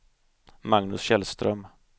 Magnus Källström